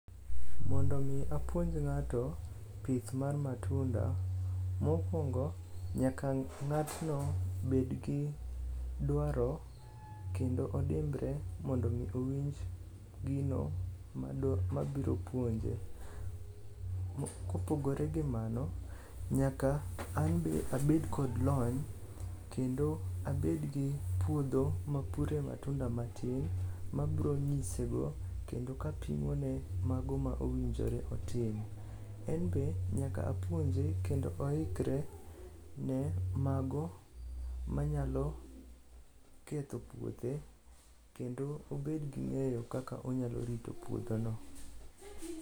Mondo omi apuonj ng'ato pith mar matunda; mokwongo nyaka ng'atno bedgi dwaro kendo odimbre mondo omi owinj gino mabiro puonje. Kopogore gi mano, nyaka an be abed kod lony kendo abedgi puodho mapure matunda matin mabronyisego kendo kapimone mago ma owinjore otim. En be nyaka apuonje kendo oikre ne mago manyalo ketho puothe kendo obed gi ng'eyo kaka onyalo rito puodhono.